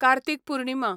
Kartik Purnima